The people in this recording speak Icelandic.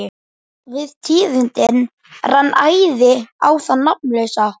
Við tíðindin rann æði á þann nafnlausa.